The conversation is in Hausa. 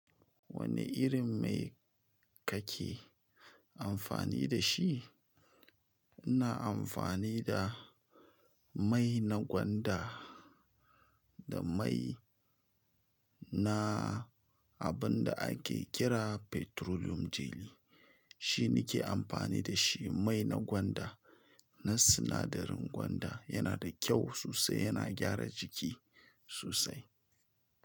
Wani irin mai kake amfani da shi? Ina amfani da mai na gwanda da mai na wanda abun da ake kira petroleum jelly shi ne nake amfani da shi mai na gwanda, na sinadarin gwanda yana da kyau sosai, yana gyara jiki sosai.